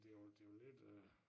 Det jo det jo lidt øh